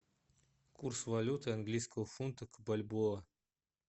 курс валюты английского фунта к бальбоа